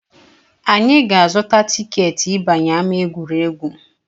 Anyị ga-azụta tiketi ịbanye ama egwuregwu